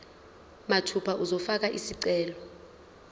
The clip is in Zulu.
mathupha uzofaka isicelo